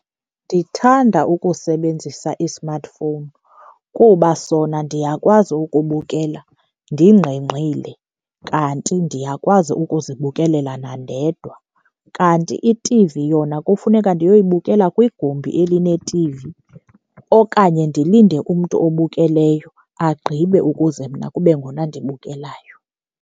Ndithanda ukusebenzisa i-smartphone kuba sona ndiyakwazi ukubukela ndingqengqile kanti ndiyakwazi ukuzibukelela nandedwa. Kanti iT_V yona kufuneka ndiyoyibukela kwigumbi elineT_V okanye ndilinde umntu obukeleyo agqibe ukuze mna kube ngona ndibukelayo.